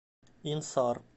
инсар